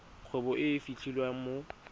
kgwebo e e fitlhelwang mo